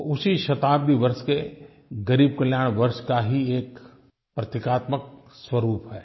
वो उसी शताब्दी वर्ष के ग़रीब कल्याण वर्ष का ही एक प्रतीकात्मक स्वरूप है